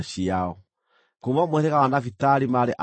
Kuuma mũhĩrĩga wa Nafitali maarĩ andũ 53,400.